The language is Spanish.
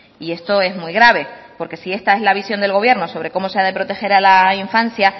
y esto es muy grave porque si esta es la visión del gobierno sobre cómo se ha de proteger a la infancia